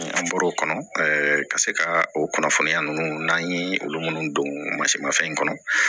Ni an bɔr'o kɔnɔ ka se ka o kunnafoniya ninnu n'an ye olu minnu don mansinmafɛn kɔnɔ